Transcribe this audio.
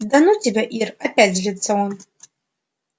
да ну тебя ир опять злится он